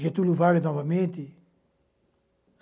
Getúlio Vargas novamente.